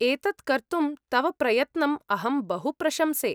एतत् कर्तुं तव प्रयत्नम् अहं बहु प्रशंसे।